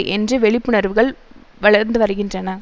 என்று வெழிப்புணர்வுகள் வளர்ந்துவருகின்றன